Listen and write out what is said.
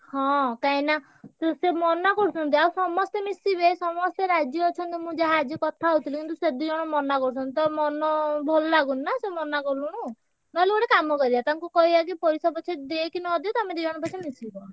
ହଁ କାଇଁକି ନା ସେ ସିଏ ମନାକରୁଛନ୍ତି ଆଉ ସମସ୍ତେ ମିଶିବେ ସମସ୍ତେ ରାଜି ଅଛନ୍ତି, ମୁଁ ଯାହା ଆଜି କଥା ହଉଥିଲି କିନ୍ତୁ ସେ ଦି ଜଣ ମନା କରୁଛନ୍ତି, ତ ମନ ଭଲ ଲାଗୁନି ନା ସେ ମନାକଲୁଣୁ| ନହେଲେ ଗୋଟେ କାମ କରିବା ତାଙ୍କୁ କହିଆ କି ପଇସା ପଛେ ଦିଅ କି ନ ଦିଅ ତମେ ଦି ଜଣ ପଛେ ମିଶିବ।